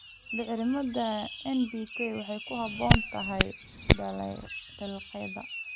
Bacriminta NPK waxay ku habboon tahay dalagyada.